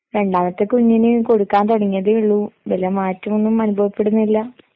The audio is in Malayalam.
രണ്ടാമത്തെ കുഞ്ഞിന് കൊടുക്കാൻ തുടങ്ങിയതേയുള്ളു, വലിയ മാറ്റമൊന്നും അനുഭവപ്പെടുന്നില്ല.